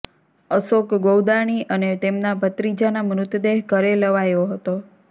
અશોક ગૌદાણી અને તેમના ભત્રીજાના મૃતદેહ ઘરે લવાયો હતો